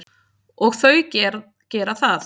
Og þau gera það.